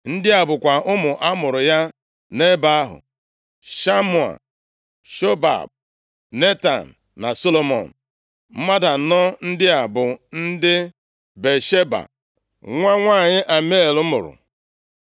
Ndị a bụkwa ụmụ a mụụrụ ya nʼebe ahụ: Shamua, + 3:5 Shimea bụ ụzọ ọzọ e si akpọ Shamua Shobab, Netan na Solomọn. Mmadụ anọ ndị a bụ ndị Batsheba nwa nwanyị Amiel mụrụ.